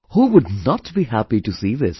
Who would not be happy to see this